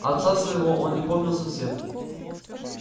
отца своего он не помнил совсем